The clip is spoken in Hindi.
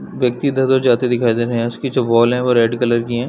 व्यक्ति इधर उधर जाते दिखाई दे रहे हैं उसकी जो वाल हैं वो रेड कलर की हैं ।